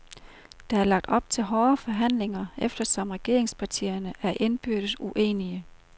Der er lagt op til hårde forhandlinger, eftersom regeringspartierne er indbyrdes uenige.